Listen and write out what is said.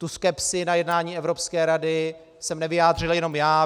Tu skepsi na jednání Evropské rady jsem nevyjádřil jenom já.